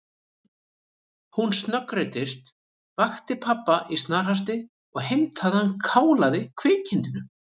Hún snöggreiddist, vakti pabba í snarhasti og heimtaði að hann kálaði kvikindinu.